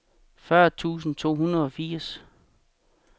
fyrre tusind to hundrede og firs